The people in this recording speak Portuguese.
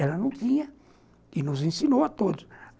Ela não tinha e nos ensinou a todos.